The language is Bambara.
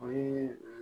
O ye